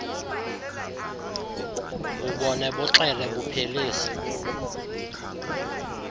bubone buxele buphelise